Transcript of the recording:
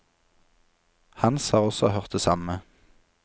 Hans har også hørt det samme.